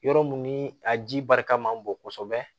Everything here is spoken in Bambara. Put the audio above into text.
Yɔrɔ min ni a ji barika man bon kosɛbɛ